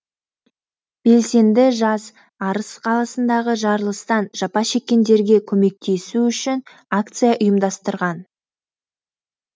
белсенді жас арыс қаласындағы жарылыстан жапа шеккендерге көмектесу үшін акция ұйымдастырған